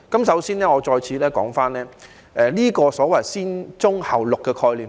首先，我再次談談"先棕後綠"的概念。